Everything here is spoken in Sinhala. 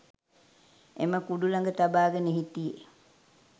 එම කුඩු ලඟ තබාගෙන හිටියේ